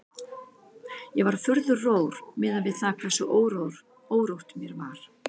Ég var furðu rór miðað við það hversu órótt mér var.